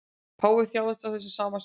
Páfi þjáðist af þessum sama sjúkdómi